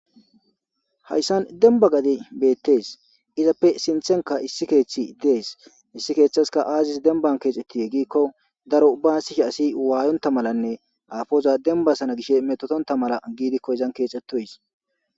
Haysan demba gadey betes, izappe sinthenk aissi keethiy des, hesi kethska azis demban kexetide giikon daro baasishe asiy waayonta malanne aapoz dembasana mala gishe metotonta malakonizan keexwtoysi